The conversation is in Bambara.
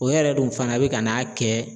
O yɛrɛ dun fana bɛ ka n'a kɛ